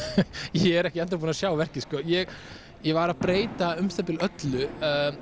ég er ekki enn þá búinn að sjá verkið sko ég ég var að breyta um það bil öllu